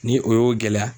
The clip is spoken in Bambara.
Ni o y'o gɛlɛya